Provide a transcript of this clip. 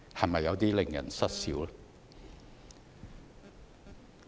是否有點令人失笑？